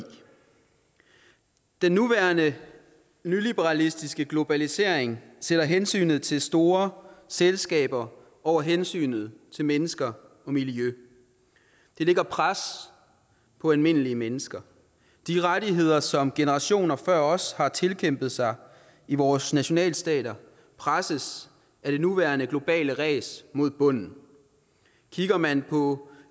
den nuværende nyliberalistiske globalisering sætter hensynet til store selskaber over hensynet til mennesker og miljø det lægger et pres på almindelige mennesker de rettigheder som generationer før os har tilkæmpet sig i vores nationalstater presses af det nuværende globale ræs mod bunden kigger man på